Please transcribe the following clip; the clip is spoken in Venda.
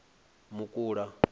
mukula